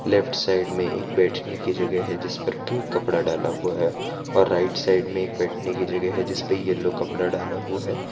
Left side में एक बैठने की जगह है जिस पर पिंक कपड़ा डाला हुआ है और राइट साइड में एक बैठने की जगह है जिस पर येलो कपड़ा डाला हुआ है।